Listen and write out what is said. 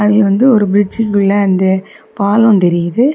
அதுல வந்து ஒரு பிரிட்ஜ்ன்குள்ள அந்த பாலம் தெரியுது.